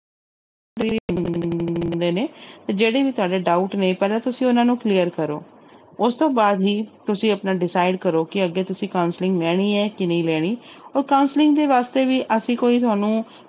ਨੇ ਤੇ ਜਿਹੜੇ ਵੀ ਤੁਹਾਡੇ doubt ਨੇ ਪਹਿਲਾਂ ਤੁਸੀਂ ਉਹਨਾਂ ਨੂੰ clear ਕਰੋ ਉਸ ਤੋਂ ਬਾਅਦ ਹੀ ਤੁਸੀਂ ਆਪਣਾ decide ਕਰੋ ਕਿ ਅੱਗੇ ਤੁਸੀਂ counselling ਲੈਣੀ ਹੈ ਕਿ ਨਹੀਂ ਲੈਣੀ ਉਹ counselling ਦੇ ਵਾਸਤੇ ਵੀ ਅਸੀਂ ਕੋਈ ਤੁਹਾਨੂੰ